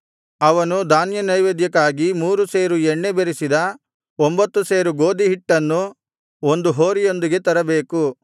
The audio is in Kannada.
ಅವನು ಧಾನ್ಯನೈವೇದ್ಯಕ್ಕಾಗಿ ಮೂರು ಸೇರು ಎಣ್ಣೆ ಬೆರಸಿದ ಒಂಭತ್ತು ಸೇರು ಗೋದಿಯ ಹಿಟ್ಟನ್ನೂ ಒಂದು ಹೋರಿಯೊಂದಿಗೆ ತರಬೇಕು